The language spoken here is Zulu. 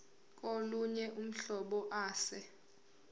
kolunye uhlobo ase